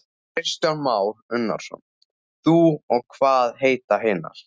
Kristján Már Unnarsson: Þú og hvað heita hinar?